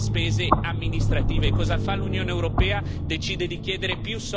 E ovviamente c'è un continuo incremento delle spese amministrative.